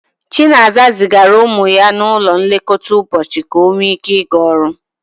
Chinaza zigara ụmụ ya n'ụlọ nlekọta ụbọchị ka ọ nwee ike ịga ọrụ.